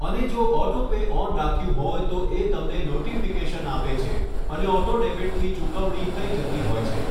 અને જો auto pay on રાખ્યું હોય છે તો એ તમને નોટિફિકેશન આપે છે અને ઑટો ડેબિટ એ ચુકવણી થઈ જતી હોય છે